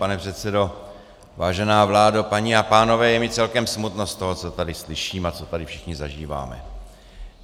Pane předsedo, vážená vládo, paní a pánové, je mi celkem smutno z toho, co tady slyším a co tady všichni zažíváme.